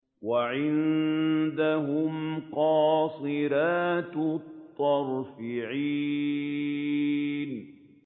وَعِندَهُمْ قَاصِرَاتُ الطَّرْفِ عِينٌ